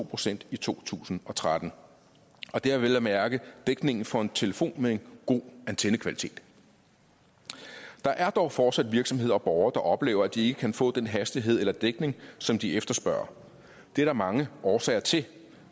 procent i to tusind og tretten og det er vel at mærke dækningen for en telefon med en god antennekvalitet der er dog fortsat virksomheder og borgere der oplever at de ikke kan få den hastighed eller dækning som de efterspørger og det er der mange årsager til